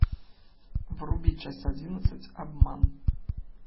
вруби часть одиннадцать обман